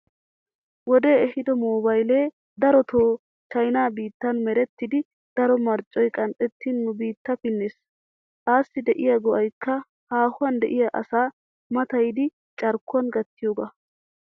Wodee ehiido moobaylee. darotoo chaynaa biittan merettidi daro marccoy qanxxettin nu biittaa pinnees. Assi de'iya go'aykka haahuwan de'iya asaa matayidi carkkuwan gattiyogaa.